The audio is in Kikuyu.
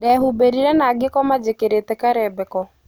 Ndehumbĩrire na ngĩkoma njĩkirite karembeko.